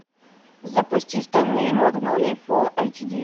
запусти стальные магнолии фулл эйч ди